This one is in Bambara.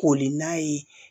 Koli n'a ye